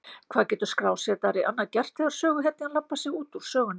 Hvað getur skrásetjari annað gert þegar söguhetjan labbar sig út úr sögunni?